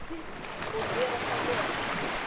Og gera það vel.